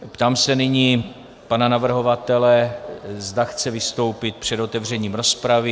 Ptám se nyní pana navrhovatele, zda chce vystoupit před otevřením rozpravy.